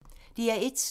DR1